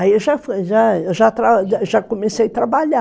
Aí eu já já comecei a trabalhar.